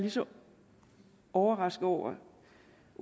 lige så overrasket over